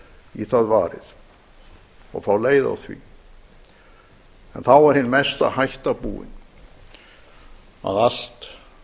í það varið og fá leiða á því en þá er en mesta hætta búin að allt